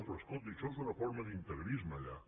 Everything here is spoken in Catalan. però escolti això és una forma d’integrisme allà